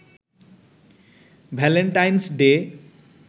Valentine's day